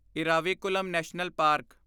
Eravikulam national park